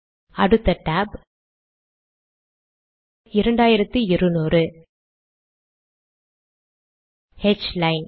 அடுத்த tab ஹ்லைன்